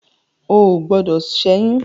O ò gbọdọ̀ ṣẹ́yún.